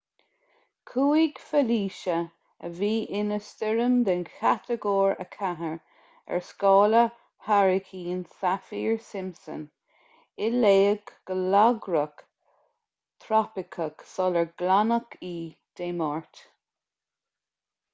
chuaigh felicia a bhí ina stoirm den chatagóir 4 ar scála hairicín saffir-simpson i léig go lagrach trópaiceach sular glanadh í dé máirt